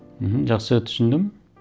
мхм жақсы түсіндім